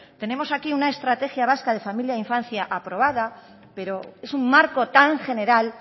tenemos aquí una estrategia vasca de familia e infancia aprobada pero es un marco tan general